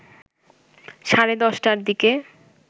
সাড়ে ১০টার দিকে